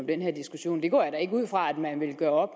den her diskussion det går jeg da ikke ud fra at man vil gøre